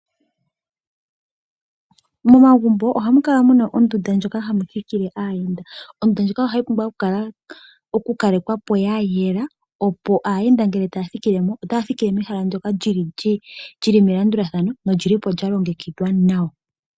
Momagumbo ohamu kala mu na ondunda ndjoka hayi thikile aayenda. Ondunda ndjika ohayi pumbwa okukalekwa po ya yela, opo aayenda ngele taya thikile mo otaya thikile mehala ndyoka li li melandulathano noli li po lya longekidhwa nawa.